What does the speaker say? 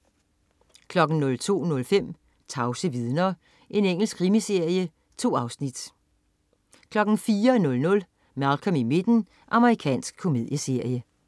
02.05 Tavse vidner. Engelsk krimiserie. 2 afsnit 04.00 Malcolm i midten. Amerikansk komedieserie